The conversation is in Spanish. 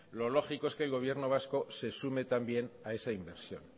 lo lógico es que el gobierno vasco se sume también a